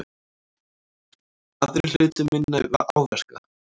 Aðrir hlutu minni áverka